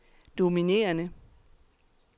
dominerende